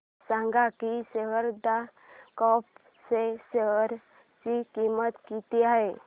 हे सांगा की शारदा क्रॉप च्या शेअर ची किंमत किती आहे